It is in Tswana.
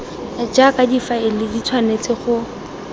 jaaka difaele di tshwanetse go